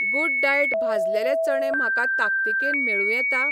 Good diet भाजलेले चणे म्हाका ताकतिकेन मेळूं येता?